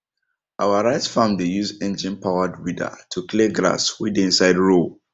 our rice farm dey use enginepowered weeder to clear grass we dey inside row